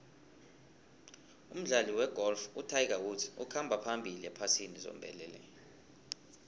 umdlali wegolf utiger woods ukhamba phambili ephasini zombelele